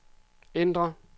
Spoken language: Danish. ændr